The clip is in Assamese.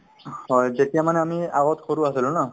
হয় যেতিয়া মানে আমি আগত সৰু আছিলো ন